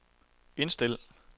indstil